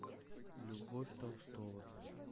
любовь толстова